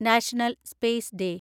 national space day